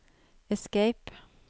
escape